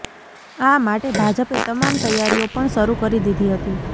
આ માટે ભાજપે તમામ તૈયારીઓ પણ શરૂ કરી દીધી હતી